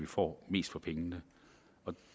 får mest for pengene